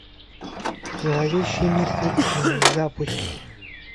зловещие мертвецы запусти